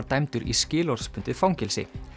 dæmdur í skilorðsbundið fangelsi